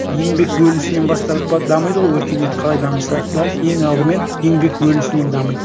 еңбек бөлісінен бастап дамиды ғой өркениет қалай дамыса да ең алдымен еңбек бөлісінен дамиды